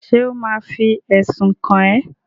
Ṣé ò ma fi ẹ̀sùn kàn ẹ́?